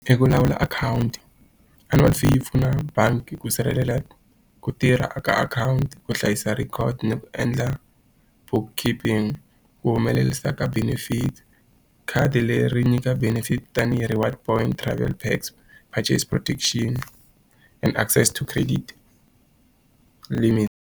I ku lawula akhawunti Annual fee yi pfuna bangi ku sirhelela ku tirha eka akhawunti, ku hlayisa record, ni ku endla book keeping. Ku humelerisa ka benefits. Khadi leri nyika benefit tanihi reward points, travel packs, protection and access to credit limit.